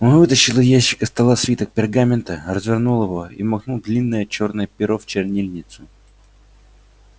он вытащил из ящика стола свиток пергамента развернул его и макнул длинное чёрное перо в чернильницу